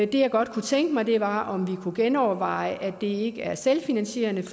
det jeg godt kunne tænke mig var om vi kunne genoverveje at det ikke er selvfinansieret